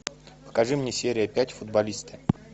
покажи мне серия пять футболисты